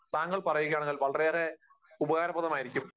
താങ്കൾ പറയുകയാണെങ്കിൽ വളരെയേറെ ഉപകാരപ്രദമായിരിക്കും.